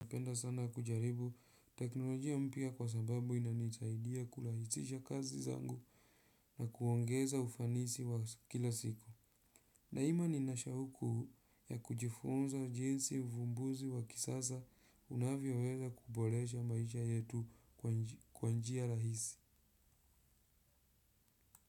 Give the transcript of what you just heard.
Napenda sana kujaribu teknolojia mpya kwa sababu inanisaidia kurahisisha kazi zangu na kuongeza ufanisi wa kila siku. Daima nina shauku ya kujifunza jinsi uvumbuzi wa kisasa unavyoweza kuboresha maisha yetu kwa njia rahisi.